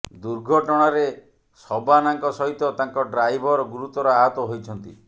ଦୁର୍ଘଟଣାରେ ଶବାନାଙ୍କ ସହିତ ତାଙ୍କ ଡ୍ରାଇଭର ଗୁରୁତର ଆହତ ହୋଇଛନ୍ତି